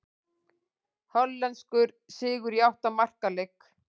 Hollenskur sigur í átta marka leik